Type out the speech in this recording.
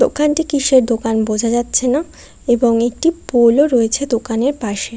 দোকানটি কিসের দোকান বোঝা যাচ্ছে না এবং একটি পোল ও রয়েছে দোকানের পাশে।